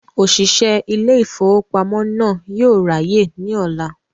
Òṣìṣẹ́ ilé ìfowópamọ́ náà yóò ráyè ní ọ̀la